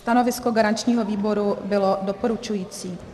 Stanovisko garančního výboru bylo doporučující.